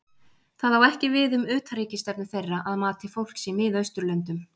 það á ekki við um utanríkisstefnu þeirra að mati fólks í miðausturlöndum